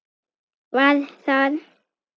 Var það